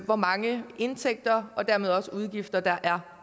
hvor mange indtægter og dermed også udgifter der er